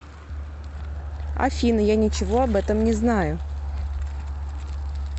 афина я ничего об этом не знаю